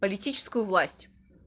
политическую власть